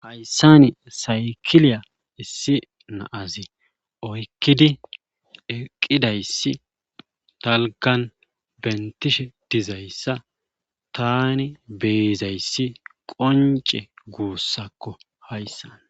Hayssan saykiliya issi na'azi oyqqqidi eqqidayssi dalggan bentishe dizayssa taani beyizayssi qoncce gussakko hayssan.